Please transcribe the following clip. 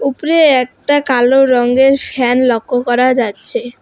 উপরে একটা কালো রঙ্গের ফ্যান লক্ষ করা যাচ্ছে।